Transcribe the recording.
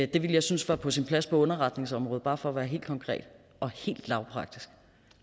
det ville jeg synes var på sin plads på underretningsområdet bare for være helt konkret og helt lavpraktisk